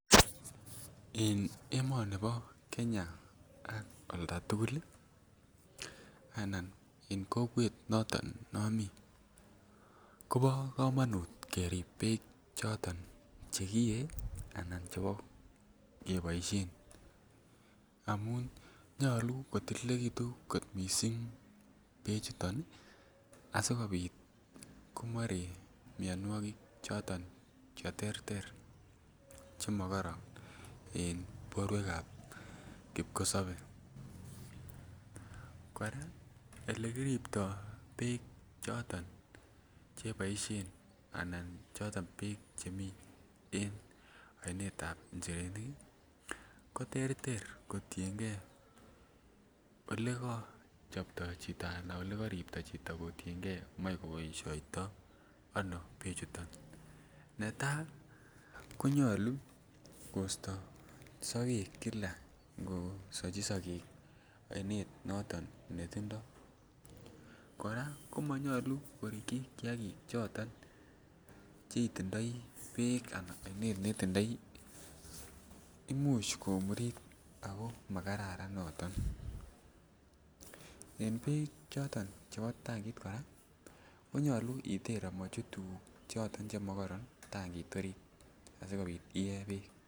En emonibo Kenya ak olda tugul ii anan en kokwet noton momii Kobo komonut kerib beek choton che kiyee anan chebo keboishen amun nyoluu kotililekitun missing bechuton ii asikopit komoree mionwokik choton che terter che mokoron en borwekab kipkosobee. Koraa eke kiripto beek choton che boishen anan choton beek chemii en oninetab njirenik ii ko terter kotiengee ole ko chobto chito anan ole keribto kotiengee moi koboishoito ano bechuton. Netaa konyoluu kosto sogek kilaa ngo Sochi sogek oinet noton netindo, koraa komonyoluu korikyi kiagik choton che itindoi beek anan oinet netindoi imuch komurit ako makararan noton. En beek choton chebo tankit koraa konyoluu iter omochut tuguk choton che mokoron Tankit orit asikopit iyee beek